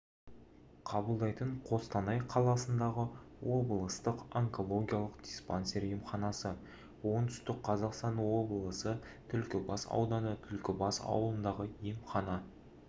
қабылдайтын қостанай қаласындағы облыстық онкологиялық диспансер емханасы оңтүстік қазақстан облысы түлкібас ауданы түлкібас ауылындағы емхана